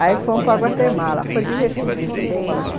Aí fomos para Guatemala, foi divertidíssimo.